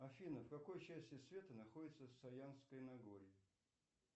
афина в какой части света находится саянское нагорье